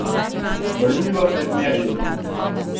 Vrniva se k Merlinu.